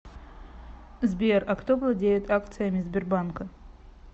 сбер а кто владеет акциями сбербанка